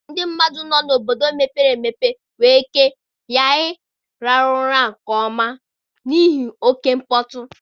Ndị mmadụ nọ n'obodo mepere emepe nwere ike ghara ịrahụ ụra nke ọma n'ihi oke mkpọtụ.